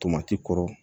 Tomati kɔrɔ